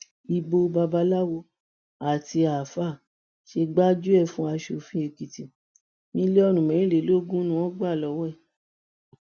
ibo babaláwo àti àáfàá ṣe gbájúẹ fún asòfin èkìtì mílíọnù mẹrìnlélógún ni wọn gbà lọwọ ẹ